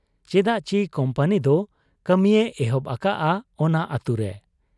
ᱪᱮᱫᱟᱜ ᱪᱤ ᱠᱩᱢᱯᱟᱹᱱᱤᱫᱚ ᱠᱟᱹᱢᱤᱭᱮ ᱮᱦᱚᱵ ᱟᱠᱟᱜ ᱟ ᱚᱱᱟ ᱟᱹᱛᱩᱨᱮ ᱾